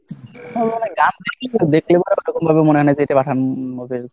গান দেখলে ওরকম ভাবে মনে হয় না যে এটা পাঠান movie এর